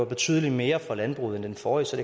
betydelig mere for landbruget end den forrige så